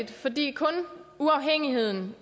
fordi kun uafhængigheden